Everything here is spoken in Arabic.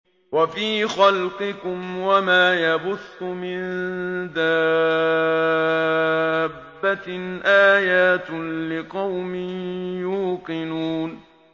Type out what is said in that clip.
وَفِي خَلْقِكُمْ وَمَا يَبُثُّ مِن دَابَّةٍ آيَاتٌ لِّقَوْمٍ يُوقِنُونَ